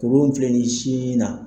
Kurukun min filɛ nin ye sin na